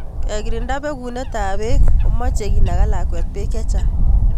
Kekirinda bekunetab beek komechey kinaga lakwet beek chechang